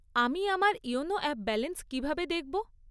আমি আমার YONO app balance কীভাবে দেখব?